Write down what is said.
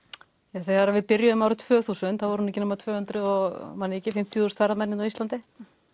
þegar við byrjuðum árið tvö þúsund voru ekki nema tvö hundruð og fimmtíu þúsund ferðamenn á Íslandi